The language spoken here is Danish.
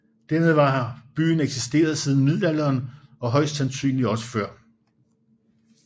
Dermed har byen eksisteret siden middelalderen og højst sandsynligt også før